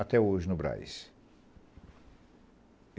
Até hoje, no Brás.